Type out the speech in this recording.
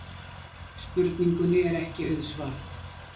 Spurningunni er ekki auðsvarað.